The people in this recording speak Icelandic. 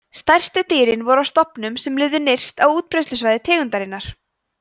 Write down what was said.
stærstu dýrin voru af stofnunum sem lifðu nyrst á útbreiðslusvæði tegundarinnar